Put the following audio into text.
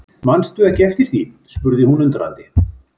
Mannstu ekki eftir því spurði hún undrandi.